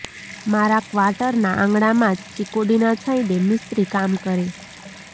મારા ક્વાર્ટરના આંગણામાં જ ચીકુડીના છાંયડે મિસ્ત્રી કામ કરે